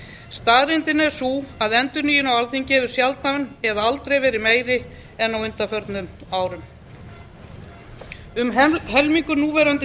staðreyndin er sú að endurnýjun á alþingi hefur sjaldan eða aldrei verið meiri en á undanförnum árum um helmingur núverandi